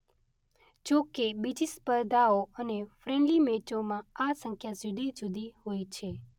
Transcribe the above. જોકે બીજી સ્પર્ધાઓ અને ફ્રેન્ડલી મેચોમાં આ સંખ્યા જુદી જુદી હોય છે.